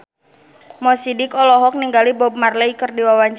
Mo Sidik olohok ningali Bob Marley keur diwawancara